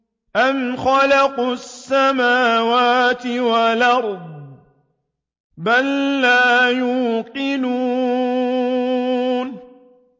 أَمْ خَلَقُوا السَّمَاوَاتِ وَالْأَرْضَ ۚ بَل لَّا يُوقِنُونَ